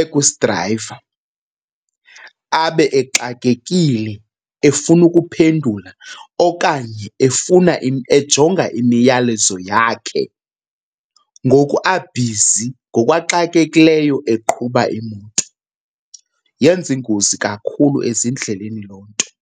ekusidrayiva, abe exakekile efuna ukuphendula okanye efuna ejonga imiyalezo yakhe ngoku abhizi, ngoku axakekileyo eqhuba imoto. Yenza iingozi kakhulu ezindleleni loo nto.